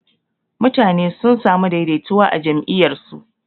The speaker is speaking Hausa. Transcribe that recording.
mutane sun samu daidaituwa a jam'iyyar su.